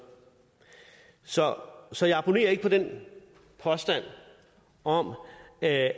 så så jeg abonnerer ikke på den påstand om at